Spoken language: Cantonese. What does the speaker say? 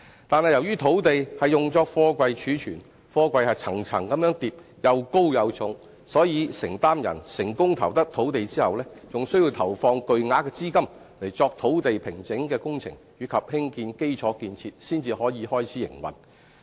但是，由於土地是用作貨櫃貯存，貨櫃層層疊，又高又重，所以承租人成功投得用地後，還需要投放巨額資金作土地平整的工程及興建基礎建設才可開始營運。